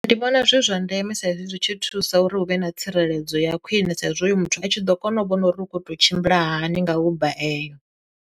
Ndi vhona zwi zwa ndeme sa izwi zwi tshi thusa uri hu vhe na tsireledzo ya khwine sa izwi hoyo muthu a tshi ḓo kona u vhona uri hu kho to tshimbila hani nga uber eyo.